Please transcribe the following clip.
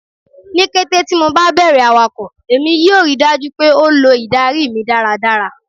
Ni kete ti MO ba bẹrẹ awakọ, Emi yoo rii daju pe o lo idari mi daradara